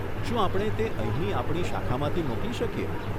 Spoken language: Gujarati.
શું આપણે તે અહીંની આપણી શાખામાંથી મોકલી શકીએ?